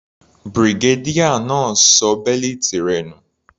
Brigadier náà ṣọ bẹ́lìtì rẹ̀ nù.